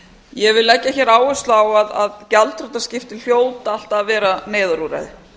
ég vil leggja hér áherslu á að gjaldþrotaskipti hljóta alltaf að vera neyðarúrræði